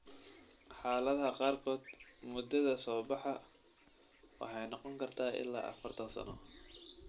Xaaladaha qaarkood, muddada soo-baxa waxay noqon kartaa ilaa afartaan sano.